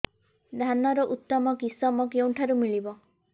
ଧାନର ଉତ୍ତମ କିଶମ କେଉଁଠାରୁ ମିଳିବ